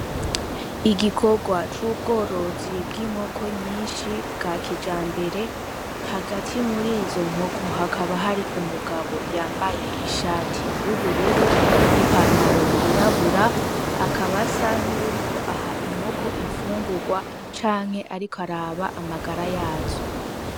Igikorwa c'ubworozi bw'inkoko nyinshi bwa kijambere, hagati muri izo nkoko hakaba hari umugabo yambaye ishati y'ubururu n'ipantaro yirabura, akaba asa nuwuriko aha inkoko infungurwa canke ariko araba amagara yazo.